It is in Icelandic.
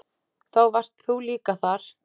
Þá varst þú líka þar.